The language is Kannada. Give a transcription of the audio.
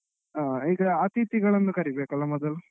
ಹಾ ಈಗ ಅತಿಥಿಗಳನ್ನು ಕರಿಬೇಕಲ್ಲ ಮೊದಲು?